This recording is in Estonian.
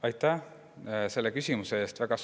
Aitäh selle küsimuse eest!